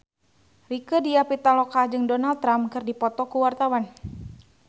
Rieke Diah Pitaloka jeung Donald Trump keur dipoto ku wartawan